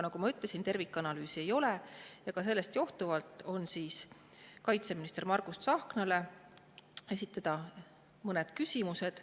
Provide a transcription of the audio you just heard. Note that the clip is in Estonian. Nagu ma ütlesin, tervikanalüüsi ei ole, ja sellest johtuvalt esitame minister Margus Tsahknale mõned küsimused.